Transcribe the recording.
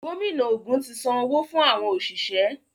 Gómìnà ògún tí Sàn owo fún àwọn oṣiṣẹ.